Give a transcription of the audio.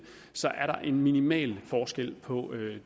så er der en minimal forskel på